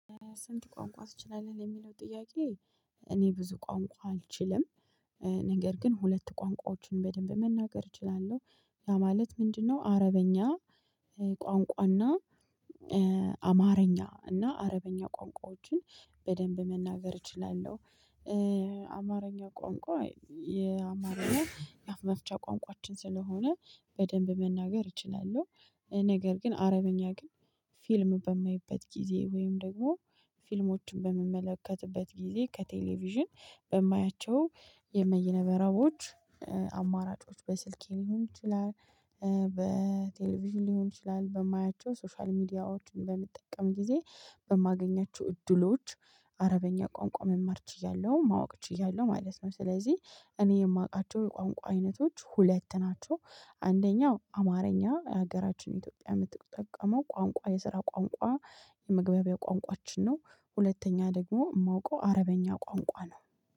ስንት ቋንቋ ትችላለህ የሚለው ጥያቄ? እኔ ብዙ ቋንቋ አልችልም። ነገር ግን ሁለት ቋንቋዎችን በደንብ መናገር እችላለሁ። ያ ማለት ምንድነው? አረበኛ። ቋንቋና አማርኛ እና አረበኛ ቋንቋዎችን በደንብ መናገር እችላለሁ። አማርኛ ቋንቋ የአማርኛ የአፍ መፍቻ ቋንቋችን ስለሆነ በደንብ መናገር እችላለሁ። ነገር ግን አረብኛ ግን ፊልም በማይበት ጊዜ ወይም ደግሞ ፊልሞችን በምመለከትበት ጊዜ ከቴሌቪዥን በማያቸው የመይነ መረቦች አማራጮች በስልኬ ሊሆን ይችላል። በቴሌቪዥን ሊሆን ይችላል በማያቸው ሶሻል ሚዲያዎችን በምጠቀም ጊዜ በማገኛችሁ እድሎች አረበኛ ቋንቋ መማርች ችያለሁ ማወቅ ችያለሁ ማለት ነው። ስለዚህ እኔ የማውቃቸው የቋንቋ አይነቶች ሁለት ናቸው። አንደኛው አማርኛ የሀገራችን ኢትዮጵያ ምትጠቀመው ቋንቋ የስራ ቋንቋ የመግባቢያ ቋንቋችን ነው። ሁለተኛ ደግሞ ማውቀው አረበኛ ቋንቋ ነው